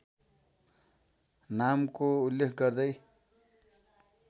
नामको उल्लेख गर्दै